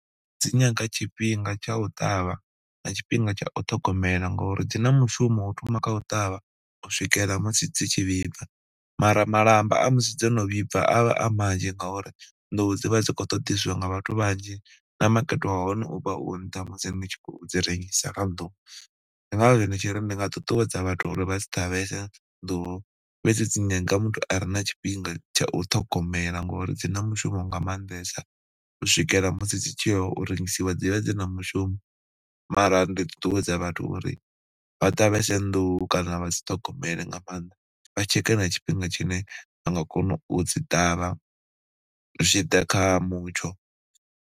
Dzi nyaga tshifhinga tsha u ṱavha na tshifhinga tsha o ṱhogomela ngori dzi na mushumo u thoma kha u ṱavha, u swikela musi dzi tshi vhibva mara malamba a musi dzo no vhibva a vha a manzhi ngauri nḓuhu dzi vha dzi khou ṱoḓeswa nga vhathu vhanzhi na makete wa hone u vha u nṱha musi ni tshi khou dzi rengisa kha nḓuhu. Ndi ngazwo ndi tshi ri ndi nga ṱuṱuwedza vhathu uri vha dzi ṱavhese nḓuhu fhedzi dzi nyaga muthu a re na tshifhinga tsha u ṱhogomela ngori dzi na mushumo nga maanḓesa, u swikela musi dzi tshi ya u rengisiwa dzi vha dzi na mushumo. Mara ndi ṱuṱuwedza vhathu uri vha ṱavhese nḓuhu kana vha dzi ṱhogomele nga maanḓa, vha tsheke na tshifhinga tshine vha nga kona u dzi ṱavha zwi tshi ḓa kha mutsho.